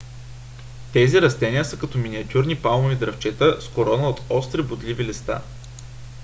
тези растения са като миниатюрни палмови дръвчета с корона от остри бодливи листа